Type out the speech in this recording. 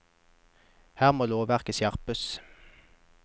Her må lovverket skjerpes!